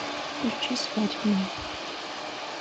включи свадебная